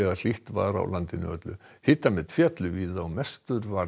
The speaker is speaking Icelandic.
hlýtt var á landinu öllu hitamet féllu víða og mestur